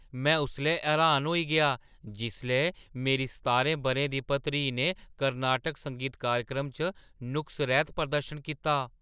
में उसलै हैरान होई गेआ जिसलै मेरी सतारां बʼरें दी भतरीऽ ने कर्नाटक संगीत कार्यक्रम च नुक्स-रैह्‌त प्रदर्शन कीता।